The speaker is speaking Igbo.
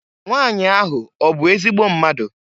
Nwanyị ahụ ọ bụ ezigbo mmadụ?